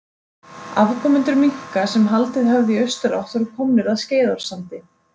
Afkomendur minka sem haldið höfðu í austurátt voru komnir að Skeiðarársandi.